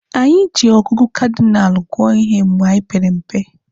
Anyị ji ọgụgụ kadinalụ gụọ ihe mgbe anyị pere mpe.